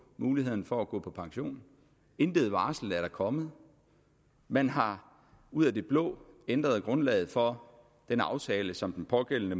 muligheden for at gå på pension intet varsel er der kommet man har ud af det blå ændret grundlaget for den aftale som den pågældende